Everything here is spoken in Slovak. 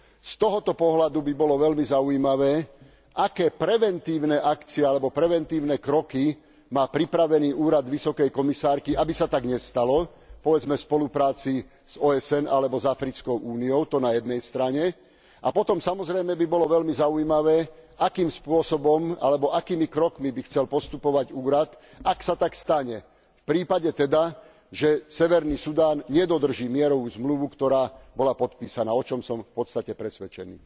Z tohto pohľadu by bolo veľmi zaujímavé, aké preventívne akcie alebo preventívne kroky má pripravený Úrad vysokej komisárky, aby sa tak nestalo, povedzme v spolupráci s OSN alebo s Africkou úniou, to na jednej strane, a potom samozrejme by bolo veľmi zaujímavé, akým spôsobom alebo akými krokmi by chcel postupovať úrad, ak sa tak stane, v prípade teda, že severný Sudán nedodrží mierovú zmluvu, ktorá bola podpísaná, o čom som v podstate presvedčený.